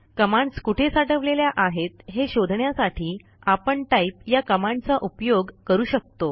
commands कुठे साठवलेल्या आहेत हे शोधण्यासाठी आपण टाइप या कमांडचा उपयोग करू शकतो